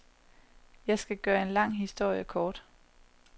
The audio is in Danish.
Jeg skal gøre en lang historie kort.